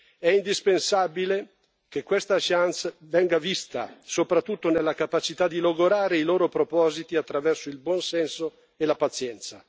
è indispensabile che questa chance venga vista soprattutto nella capacità di logorare i loro propositi attraverso il buon senso e la pazienza.